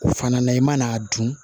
O fana na i mana dun